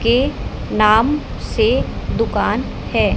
के नाम से दुकान है।